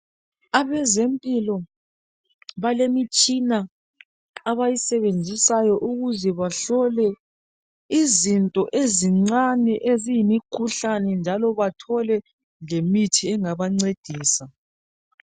Abezempilo balemitshina abayisebenzisayo ukuze bahlole izinto ezincane eziyimikhuhlane njalo bathole lemithi engabancedisa.